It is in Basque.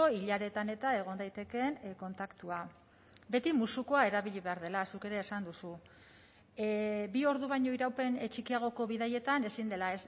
hilaretan eta egon daitekeen kontaktua beti musukoa erabili behar dela zuk ere esan duzu bi ordu baino iraupen txikiagoko bidaietan ezin dela